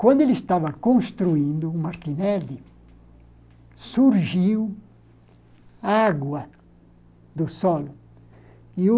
Quando ele estava construindo o Martinelli, surgiu água do solo e o...